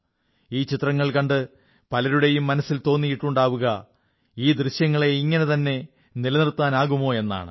ഈ ചിത്രങ്ങൾ കണ്ട് പലരുടെയും മനസ്സിൽ തോന്നിയിട്ടുണ്ടാവുക ഈ ദൃശ്യങ്ങളെ ഇങ്ങനെതന്നെ നിലനിർത്താനാകുമോ എന്നാണ്